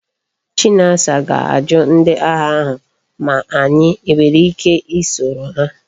Chinasa ga aju ndi agha ahu ma anyi enwere ike i soro ha